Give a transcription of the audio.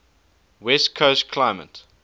west coast climate